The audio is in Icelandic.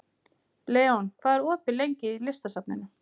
Leon, hvað er opið lengi í Listasafninu?